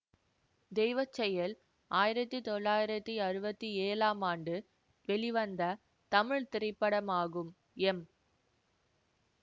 தெய்வச்செயல் ஆயிரத்தி தொள்ளாயிரத்தி அறுபத்தி ஏழாம் ஆண்டு வெளிவந்த தமிழ் திரைப்படமாகும் எம்